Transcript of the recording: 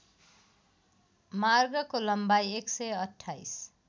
मार्गको लम्बाई १२८